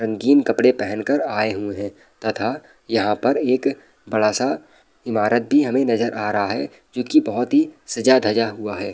रंगीन कपड़े पहन कर आए हुए है तथा यहाँ पर एक बड़ा-सा इमारत भी हमे नज़र आ रहा है जो की बहुत ही सजा धजा हुआ है।